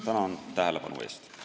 Tänan tähelepanu eest!